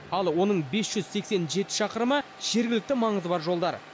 ал оның бес жүз сексен жеті шақырымы жергілікті маңызы бар жолдар